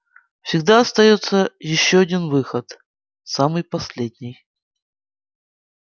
всегда остаётся ещё один выход самый последний